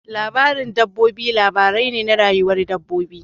Labarin dabbobi labari ne na rayuwar dabbobi.